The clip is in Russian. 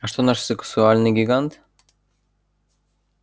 а что наш сексуальный гигант